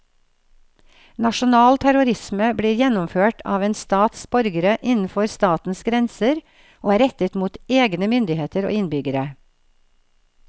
Nasjonal terrorisme blir gjennomført av en stats borgere innenfor statens grenser og er rettet mot egne myndigheter og innbyggere.